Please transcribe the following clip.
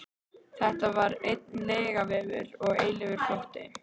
Þetta var einn lygavefur og eilífur flótti.